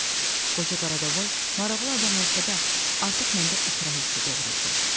Qoca Karadovoy maraqlı adam olsa da, artıq məndə ikrah hissi doğururdu.